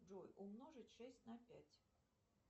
джой умножить шесть на пять